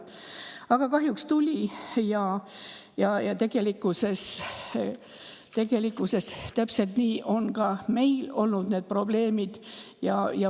Aga kahjuks tuli ja tegelikkuses on meil täpselt niisamuti need probleemid olnud.